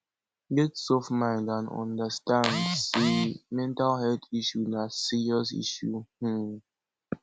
get soft mind and understand sey mental health issues na serious issue um